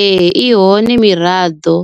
Ee i hone miraḓo